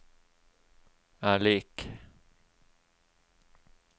er lik